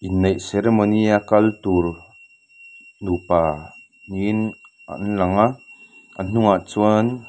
inneih seremony a kal tur nupa ni in an lang a a hnungah chuan --